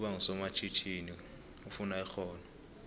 ukuba ngusomatjhinini kufuna ixhono